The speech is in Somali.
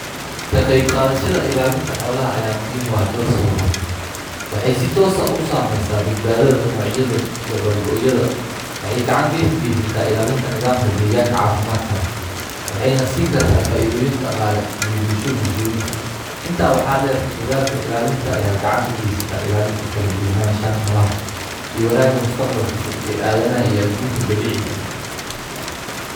kaqeyb qadhashada ilalinta xoolaha ayaa muhim uah dhoor sababod waxey sitoos ah usameyasa noocyadha dabar gooyadha waxey gacan kageysaneysata ilalinta nidhamka deeganka cafimaadka leh waxeyna siin karta faidhoyin daqale iyo bulsho bulshoyinka inta waxa deer dadhalka ilalinta ayaa gacan deer kageysto ilalinta kalasuwanashaha nolaha iyo wanaaga mustaqbalka foog ee adhanaha ee dabiciga ah.